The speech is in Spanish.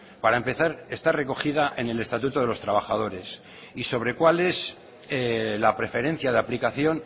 para empezar está recogida en el estatuto de los trabajadores y sobre cuál es la preferencia de aplicación